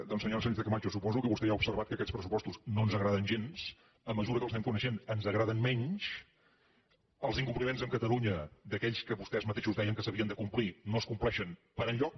doncs senyora sánchezcamacho suposo que vostè ja ha observat que aquests pressupostos no ens agraden gens a mesura que els anem coneixent ens agraden menys els incompliments amb catalunya d’aquells que vostès mateixos deien que s’havien de complir no es compleixen per enlloc